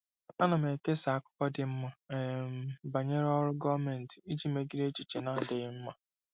Ana m ekesa akụkọ dị mma um banyere ọrụ gọọmentị iji megide echiche na-adịghị mma.